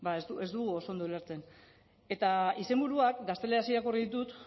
ba ez dugu oso ondo ulertzen eta izenburuak gazteleraz irakurri ditut